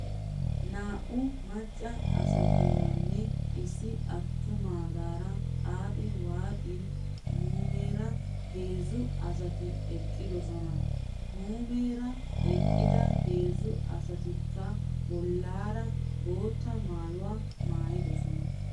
Naa'u macca asatuuranne issi attumaagaara , xaaxi waaxin muumeera heezzu asati eqqidosona. Muumeera eqqida heezzu asatikka bollaara bootta maayuwaa maayidosona .